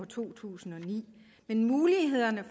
to tusind og ni men mulighederne